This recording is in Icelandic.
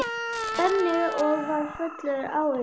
Benni og var fullur áhuga.